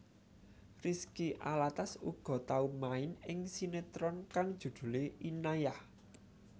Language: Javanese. Rizky Alatas uga tau main ing sinetron kang judhulé Inayah